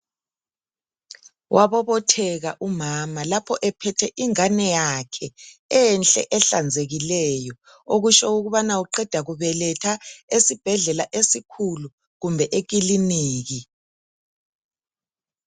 Wabobotheka umama lapho ephethe ingane yakhe enhle ehlanzekileyo okutsho ukubana uqeda kubeletha esibhedlela esikhulu kumbe ekiliniki.